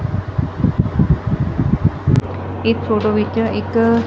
ਇਕ ਫੋਟੋ ਵਿੱਚ ਇੱਕ।